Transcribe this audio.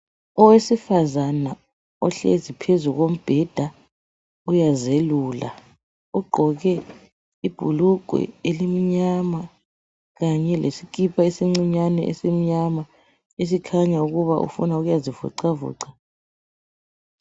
Owesifazana ohleli phezu kombheda uyazelula. Ugqoke ibhulugwe elimnyama, kanye leskipa esincinyane esimnyama esikhanya esikhanya ukuba ufuna ukuyazivoxavoxa.